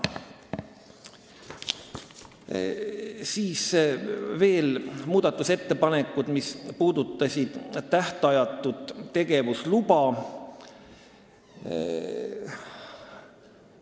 Järgmiseks muudatusettepanekud, mis puudutasid tähtajatut tegevusluba.